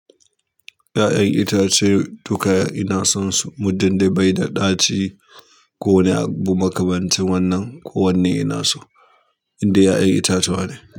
Ya'yan itace duka ina son su, muddi dai bai da ɗaci ko wani abu makamancin wannan ko wanne ina so, inda ya'yan itacuwa ne.